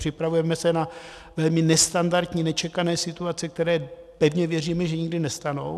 Připravujeme se na velmi nestandardní, nečekané situace, které, pevně věříme, že nikdy nenastanou.